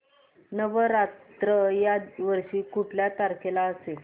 नवरात्र या वर्षी कुठल्या तारखेला असेल